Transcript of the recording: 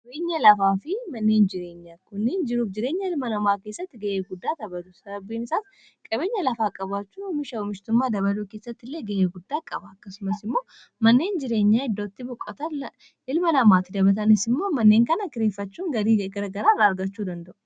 qabeenya lafaa fi manneen jireenya kunni jiruuf jireenya ilma namaa keessatti ga'ee guddaa tabatu sababbiimsaas qabeenya lafaa qabaachuu umisha umishtummaa dabaluu keessatti illee ga'ee guddaa qaba akkasumas immoo manneen jireenyaa iddootti buqataa ilma namaa ti dabatanis immoo manneen kana kireeffachuun garii ggaraa irraa argachuu danda'u